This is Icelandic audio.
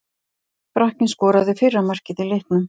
Frakkinn skoraði fyrra markið í leiknum.